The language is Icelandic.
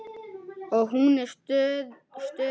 Og hún stóð við það.